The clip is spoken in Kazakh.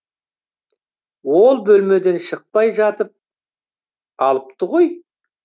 ол бөлмеден шықпай жатып алыпты ғой